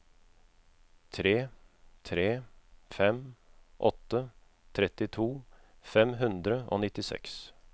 tre tre fem åtte trettito fem hundre og nittiseks